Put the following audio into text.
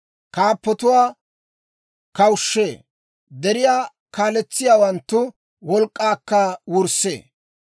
Kaappatuwaa kawushshee; deriyaa kaaletsiyaawanttu wolk'k'aakka wurssee.